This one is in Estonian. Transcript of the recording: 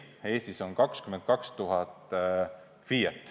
Eestis on 22 000 FIE-t.